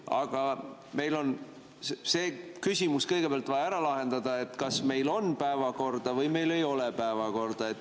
Aga meil on kõigepealt vaja ära lahendada see küsimus, kas meil on päevakorda või meil ei ole päevakorda.